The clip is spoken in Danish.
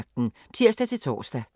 23:05: Aftenvagten (tir-tor)